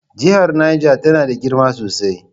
Jihar Neja tana da girma sosai.